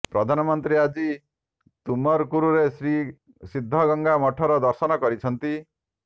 ପ୍ରଧାନମନ୍ତ୍ରୀ ଆଜି ତୁମକୁରରେ ଶ୍ରୀ ସିଦ୍ଧଗଙ୍ଗା ମଠର ଦର୍ଶନ କରିଛନ୍ତି